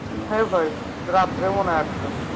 হ্যাঁ ভাই রাত্রে মনে হয় আটশ